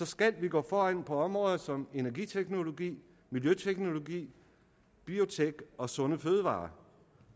skal vi gå foran på områder som energiteknologi miljøteknologi biotek og sunde fødevarer